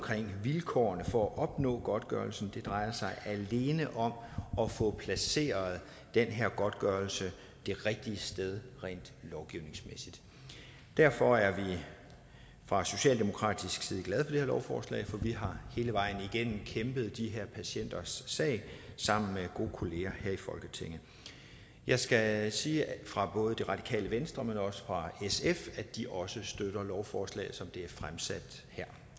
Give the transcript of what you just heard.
til vilkårene for at opnå godtgørelsen det drejer sig alene om at få placeret den her godtgørelse det rigtige sted rent lovgivningsmæssigt derfor er vi fra socialdemokratisk side glade her lovforslag for vi har hele vejen igennem kæmpet de her patienters sag sammen med gode kolleger her i folketinget jeg skal sige fra både det radikale venstre men også fra sf at de også støtter lovforslaget som det er fremsat her